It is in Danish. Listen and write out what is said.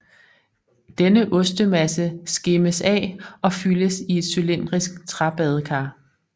Denne ostemasse skimmes af og fyldes i et cylindrisk træbadekar